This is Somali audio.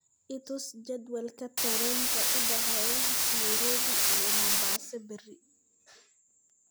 i tus jadwalka tareenka u dhexeeya nairobi iyo mombasa berri